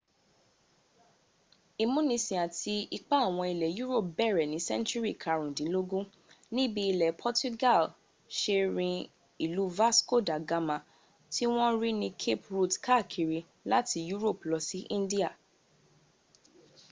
ìmúnisìn àti ipa àwọn ilẹ̀ europe bẹ̀rẹ̀ ní sẹ́ńtùrì karùndínlógún níbi ilẹ̀ portuga se rin ìlú vasco da gama tí wọ́n rí ní cape route káàkiri láti europe lọ sí india